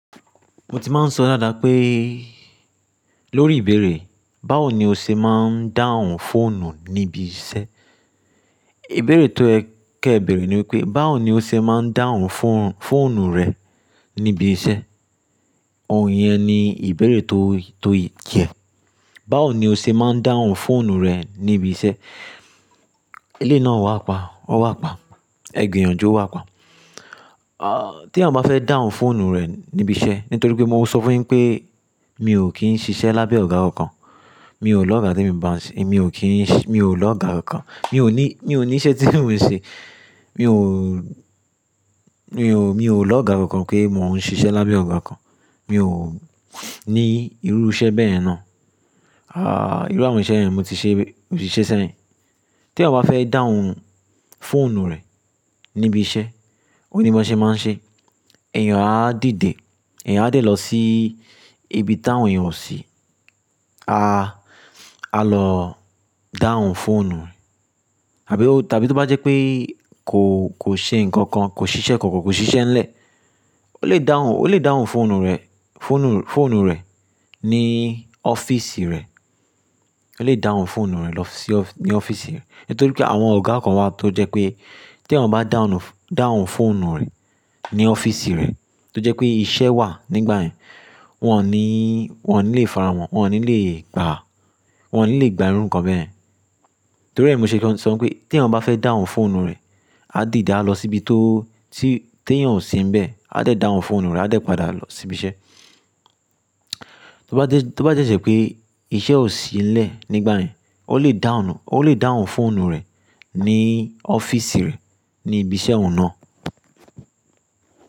Mo ti máa ń sọ dáadáa pé lórí ìbéèrè báwo ni o ṣe máa ń dáhùn fóònù níbi iṣẹ́. Ìbéèrè tó yẹ kẹ beèrè ní wípé, báwo ni o ṣe máa ń dáhùn fóònù rẹ níbi iṣẹ́? Oun yẹn ni ìbéèrè tó, tó yẹ. Báwo ni o ṣe máa ń dáhùn fóònù rẹ níbi iṣẹ́? Ilé náà wà pa, ó wà pa. Ẹ̀ gbiyànjú, o wà pa. Ah, tí enìyan bá fẹ́ dáhùn fóònù rẹ̀ níbi iṣẹ́, nítorí pé mo maa n sọ fún yin pé mi ò kí ń ṣiṣẹ́ lábẹ́ ọ̀gá kankan, mi ò l'ọ́ga t'emi ń bá a ṣe, emi ò kí ń ṣi-- mi ò lọ́ ga kankan, mi ò ní, mi ò ní iṣẹ́ tí mò ń ṣe. Mi ò, mi ò, mi ò lọ́ ga ọ̀kan pé mò ń ṣiṣẹ́ lábẹ́ ọ̀gá kan. Mi ò ní irú iṣẹ́ bẹ́ẹ̀ náà. Ah, irú àwọn iṣẹ́ yẹn mo ti ṣe, mo ti ṣe sẹ́yìn. Tí enìyan bá fẹ́ dáhùn fóònù rẹ̀ ní ibi iṣẹ́, ò ni bi won ṣe máa ń ṣe. Eeyàn á dìde, eeyàn á dè lọ sí ibi tí àwọn èèyàn ò sí. A, a lọ dáhùn fóònù. Àbí ó, tàbí tó bá jẹ́ pé kò, kò ṣe nǹkan kan, kò ṣiṣẹ́ kankan, kò ṣiṣẹ́ ńlẹ̀, ó lè dáhùn, ó lè dáhùn fóònù rẹ̀, fóònù, fóònù rẹ̀ ní ọ́fíìsì rẹ̀. Ó lè dáhùn fóònù rẹ̀ lọ sí ọ́-- ní ọ́fíìsì rẹ̀. Nítorí pé àwọn ọ̀gá kan wà tó jẹ́ pé tí eeyan bá dáhùn, dáhùn fóònù rẹ̀ ní ọ́fíìsì rẹ̀ tó jẹ́ pé iṣẹ́ wà nígbà yẹn, wọ́n ní, wọ́n ò ní lè faramọ́, wọ́n ò ní lè gbà á, wọ́n ò ní lè gba irú ǹkan bẹ́yen. Torí ẹ ni mo ṣe fe n sọ pé tí eniyan bá fẹ́ dáhùn fóònù rẹ̀, á dìde, á lọ síbi tó, tí tí eeyàn ò sí níbẹ̀, á dẹ̀ dáhùn fóònù rẹ̀, á dẹ̀ padà sí ibi iṣẹ́. Tó bá jẹ́, tó bá de dẹ́ pé iṣẹ́ ò sí nlẹ̀ nígbà yẹn, ó lè dáhùn, ó lè dáhùn fóònù rẹ̀ ní ọ́fíìsì rẹ̀, ní ibi iṣẹ́ òun náà.